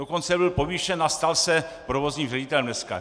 Dokonce byl povýšen a stal se provozním ředitelem dneska.